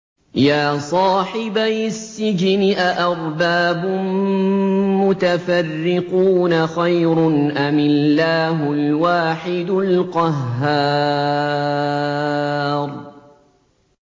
يَا صَاحِبَيِ السِّجْنِ أَأَرْبَابٌ مُّتَفَرِّقُونَ خَيْرٌ أَمِ اللَّهُ الْوَاحِدُ الْقَهَّارُ